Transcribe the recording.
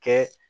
Kɛ